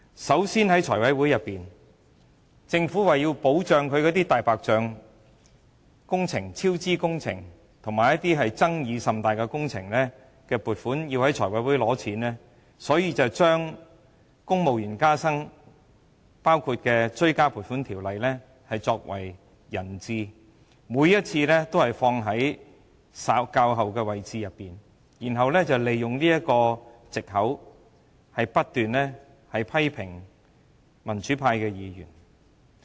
首先，政府為了讓"大白象"超支工程及一些爭議甚大的工程能在財務委員會取得撥款，就把包括公務員加薪在內的《條例草案》作為人質，每一次也編排在議程較後，然後利用這個藉口，不斷批評民主派議員。